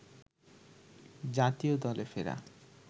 জাতীয় দলে ফেরা